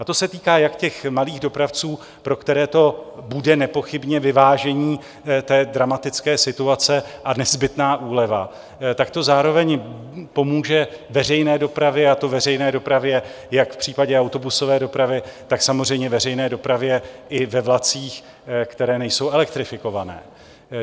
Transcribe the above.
A to se týká jak těch malých dopravců, pro které to bude nepochybně vyvážení té dramatické situace a nezbytná úleva, tak to zároveň pomůže veřejné dopravě, a to veřejné dopravě jak v případě autobusové dopravy, tak samozřejmě veřejné dopravě i ve vlacích, které nejsou elektrifikované.